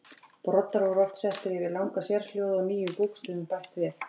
Broddar voru oft settir yfir langa sérhljóða og nýjum bókstöfum bætt við.